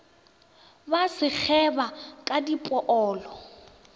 ba se kgeba ka dipoolo